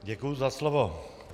Děkuji za slovo.